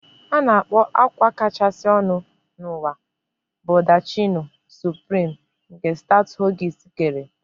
A na-akpọ akwa kachasị ọnụ n'ụwa Baldacchino Supreme, nke Stuart Hughes kere